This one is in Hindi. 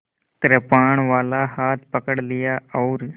कृपाणवाला हाथ पकड़ लिया और